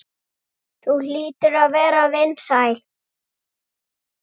Þú hlýtur að vera vinsæl.